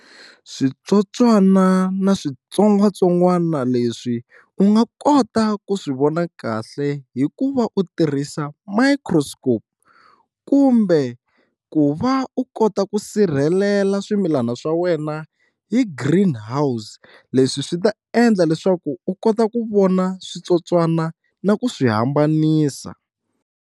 Switsotswana na switsongwatsongwana leswi u nga kota ku swi vona kahle hikuva u tirhisa microscope kumbe ku u va u kota ku sirhelela swimilana swa wena hi green house leswi swi ta endla leswaku u kota ku vona switsotswana na ku swi hambanisa.